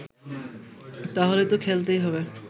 তাহলে তো খেলতেই হবে